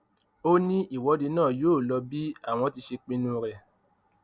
ó ní ìwọde náà yóò lọ bí àwọn ti ṣe pinnu rẹ